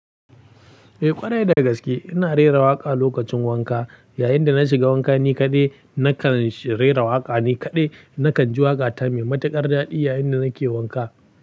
Eh ƙwarai da gaske ina rera waƙa lokacin wanka. Yayinda na shiga wanka ni kaɗai nakan rera waƙa ni kaɗai. Nakan ji waƙa ta mai matuƙar daɗi yayinda nake wanka.